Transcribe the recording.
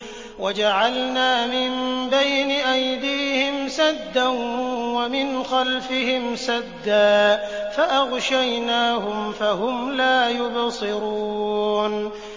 وَجَعَلْنَا مِن بَيْنِ أَيْدِيهِمْ سَدًّا وَمِنْ خَلْفِهِمْ سَدًّا فَأَغْشَيْنَاهُمْ فَهُمْ لَا يُبْصِرُونَ